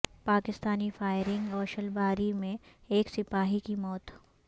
Pakistani firing و شلباری میں ایک سپاہی کی موت